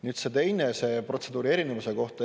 Nüüd see teine küsimus, protseduuri erinevuse kohta.